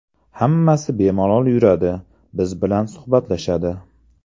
Hammasi bemalol yuradi, siz bilan suhbatlashadi.